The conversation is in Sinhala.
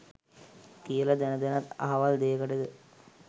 කියල දැන දැනත් අහවල් දෙයකටද